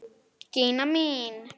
Gína mín!